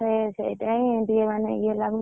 ଏ ସେଇଥିପଇଁ ଟିକେ ମାନେ ଇଏ ଲାଗୁଛି।